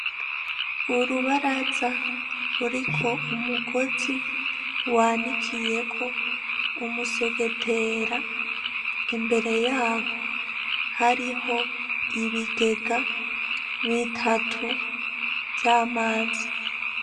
Urubaraza ruriko umugozi wanikiyeko umusegetera imbere yaho hariho ibigega bitatu vy'amazi.